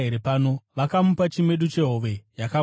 Vakamupa chimedu chehove yakagochwa,